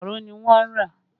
Makaro ni wọ́n rà